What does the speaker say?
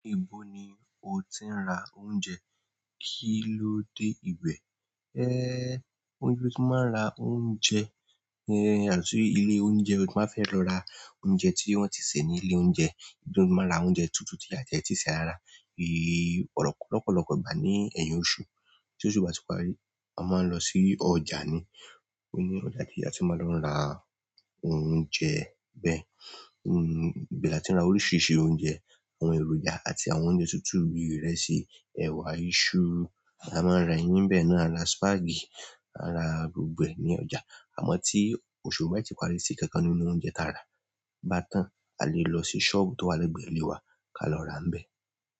Níbo ni o ti ń ra oúnjẹ? Kí ló dé ìwẹ̀? Gbogbo ibi tí mo ti máa ń ra oúnjẹ, yàtọ̀ sí ilé oúnjẹ tí mo bá fẹ́ lọ ra oúnjẹ tí wọ́n ti sè ní ilé oúnjẹ. Nítorí mo máa ń ra oúnjẹ tútù tí a tiè, tí ì sè rárá lópọ̀lọpọ̀ ìgbà ní ẹ̀yìn oṣù, tí oṣù bá ti parí, a máa ń lọ sí ọjà ni. Ó ní ọjà tí a ti máa ń lọ ra oúnjẹ bẹ́ẹ̀. Ibè la ti ń ra oríṣiríṣi oúnjẹ, àwọn èròjà àti àwọn oúnjẹ tútù bí ìrẹsì, ẹ̀wà, iṣu, a máa ń rà ẹyin ni bẹ́ẹ̀ náà, à ń ra spáàgì, à ń ra gbogbo ẹ̀ ní ọjà. Àmọ́ tí oṣù ò bá ti parí tí nkankan nínú oúnjẹ tí a rà bá tán, a lè lọ sí sọ́ọ̀bù tó wà lẹ́gbẹ̀ẹ́ ilé wa ka lọ ràá níbẹ́ẹ̀.